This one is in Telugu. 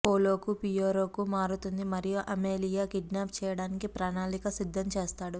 పోలో కు పియొరో కు మారుతుంది మరియు అమేలియా కిడ్నాప్ చేయడానికి ప్రణాళిక సిద్ధం చేస్తాడు